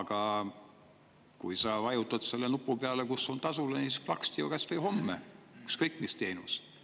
Aga kui sa vajutad selle nupu peale, kus on tasulised, siis plaksti, kas või homme ükskõik mis teenuse.